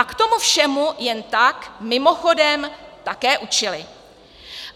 A k tomu všemu jen tak mimochodem také učili.